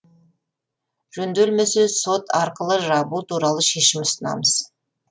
жөнделмесе сот арқылы жабу туралы шешім ұсынамыз